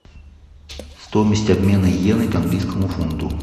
стоимость обмена йены к английскому фунту